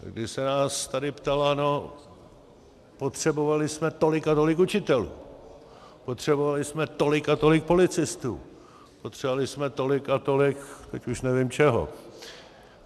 Když se nás tady ptala, no, potřebovali jsme tolik a tolik učitelů, potřebovali jsme tolik a tolik policistů, potřebovali jsme tolik a tolik - teď už nevím čeho...